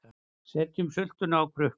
Setjum sultuna á krukkur